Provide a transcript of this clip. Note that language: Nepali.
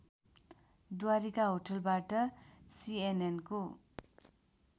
द्वारिका होटलबाट सिएनएनको